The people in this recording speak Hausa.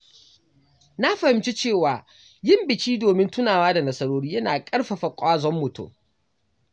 Na fahimci cewa yin biki domin tunawa da nasarori yana ƙarfafa ƙwazon mutum.